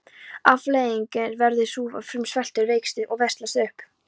Afleiðingin verður sú að fruman sveltur, veikist og veslast upp.